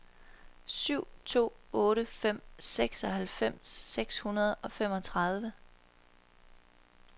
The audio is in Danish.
syv to otte fem seksoghalvfems seks hundrede og femogtredive